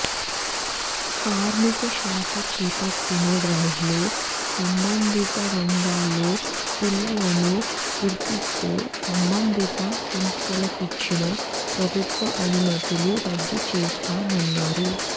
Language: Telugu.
కార్మిక శాఖ చేపట్టిన డ్రైవ్లో సంబంధిత రంగాల్లో పిల్లలను గుర్తిస్తే సంబంధిత సంస్థలకిచ్చిన ప్రభుత్వ అనుమతులు రద్దు చేస్తామన్నారు